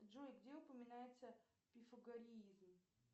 джой где упоминается пифагореизм